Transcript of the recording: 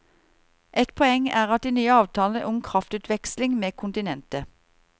Et poeng er de nye avtalene om kraftutveksling med kontinentet.